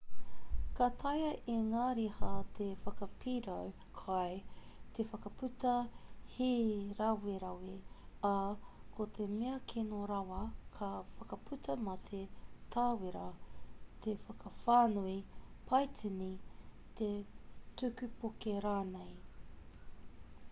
ka taea e ngā riha te whakapirau kai te whakaputa hīrawerawe ā ko te mea kino rawa ka whakaputa mate tāwera te whakawhānui paitini te tuku poke rānei